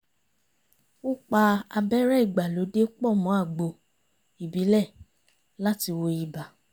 ó pa abẹ́rẹ́ ìgbàlódé pọ̀ mọ́ àgbo ìbílẹ̀ láti wo ibà